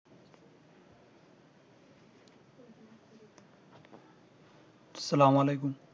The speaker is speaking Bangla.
আস্সালামু আলাইকুম